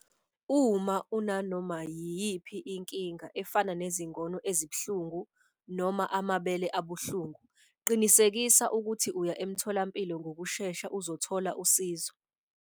Uma unanoma yiyiphi inkinga efana nezingono ezibuhlungu noma amabele abuhlungu, qinisekisa ukuthi uya emtholampilo ngokushesha uzothola usizo.